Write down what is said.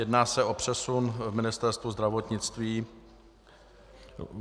Jedná se o přesun v Ministerstvu zdravotnictví.